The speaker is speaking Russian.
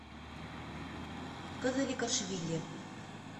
казаликашвили